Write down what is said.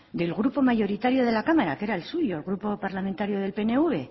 del grupo mayoritario de la cámara que era el suyo el grupo parlamentario del pnv